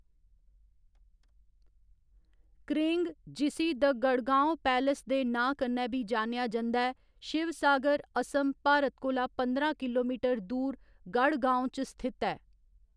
करेंग जिसी द गढ़गांव पैलेस दे नांऽ कन्नै बी जानेआ जंदा ऐ, शिवसागर, असम, भारत कोला पंदरां किलोमीटर दूर गढ़गांव च स्थित ऐ।